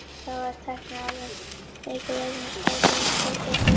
Þá var tæknin orðin það mikil að þeir steyptu plötu í gólfið.